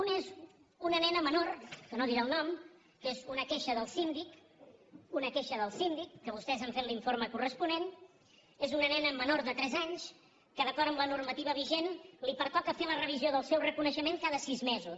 un és una nena menor que no en diré el nom que és una queixa del síndic una queixa del síndic que vostès han fet l’informe corresponent és una nena menor de tres anys que d’acord amb la normativa vigent li pertoca fer la revisió del seu reconeixement cada sis mesos